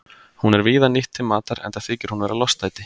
Hún er víða nýtt til matar enda þykir hún vera lostæti.